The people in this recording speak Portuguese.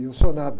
E eu sou nada.